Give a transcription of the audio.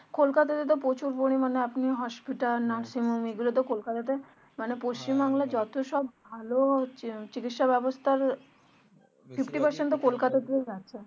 কোলকাতাতে তো প্রচুর পরিমানে আপনি hospital এগুলোতো কোলকাতাতে মানে পশ্চিম বাংলার যত সব ভালো চিকিৎসা ব্যাবস্থার